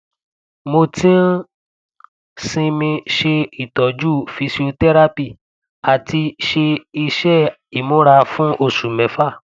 mo ti ń sinmi ṣe itọju physiotherapy àti ṣe iṣẹ ìmúra fún oṣù mẹfà